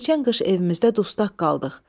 Keçən qış evimizdə dustaq qaldıq.